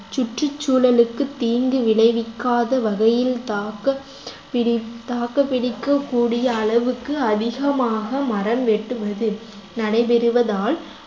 சுற்றுச்சூழலுக்கு தீங்கு விளைவிக்காத வகையில் தாக்கப் பிடி~ தாக்கு பிடிக்கக்கூடிய அளவுக்கு அதிகமாக மரம் வெட்டுவது நடைபெறுவதால்